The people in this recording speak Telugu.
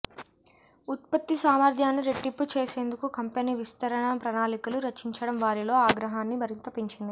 ఉత్పత్తి సామర్థ్యాన్ని రెట్టింపు చేసేందుకు కంపెనీ విస్తరణా ప్రణాళికలు రచించటం వారిలో ఆగ్రహాన్ని మరింత పెంచింది